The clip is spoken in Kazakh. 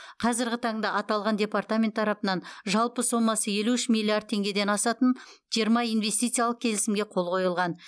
қазіргі таңда аталған департамент тарапынан жалпы сомасы елу үш миллиард теңгеден асатын жиырма инвестициялық келісімге қол қойылған